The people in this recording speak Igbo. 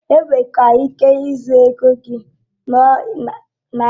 Enwere ike ị zurụ ego gị ọbụrụ na ichekwaghi kaadị eji a dọrọ ego gị.